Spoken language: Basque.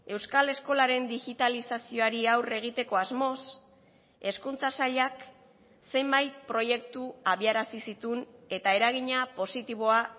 euskal eskolaren digitalizazioari aurre egiteko asmoz hezkuntza sailak zenbait proiektu abiarazi zituen eta eragina positiboa